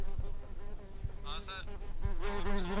ஆஹ் sir, sir ஒரு நிமிஷம்